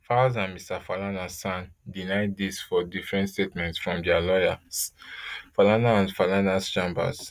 falz and mr falana san deny dis for different statements from dia lawyers falana and falanas chambers